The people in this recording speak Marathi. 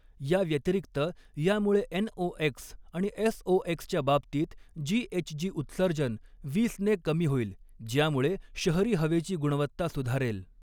या व्यतिरिक्त, यामुळे एनओएक्स आणि एसओएक्सच्या बाबतीत जीएचजी उत्सर्जन वीसने कमी होईल, ज्यामुळे शहरी हवेची गुणवत्ता सुधारेल.